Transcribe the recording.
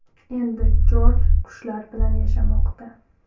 Endi Jorj qushlar bilan yashamoqda.